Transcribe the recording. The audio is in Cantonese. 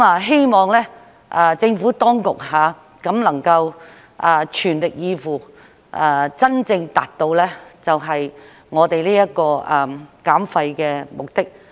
希望政府當局能夠全力以赴，真正達到我們的減廢目的。